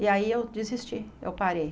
E aí eu desisti, eu parei.